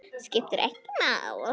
Skiptir ekki máli.